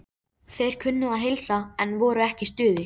Þeir kunnu að heilsa, en voru ekki í stuði.